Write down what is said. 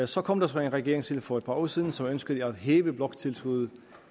så kom der en regering til for at par år siden som ønskede at hæve bloktilskuddet